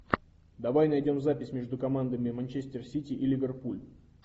давай найдем запись между командами манчестер сити и ливерпуль